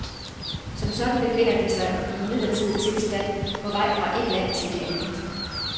Som sådan befinder de sig i en midlertidig tilstand på vej fra et land til et andet.